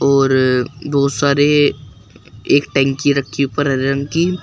और बहुत सारे एक टंकी रखी है ऊपर हरे रंग की।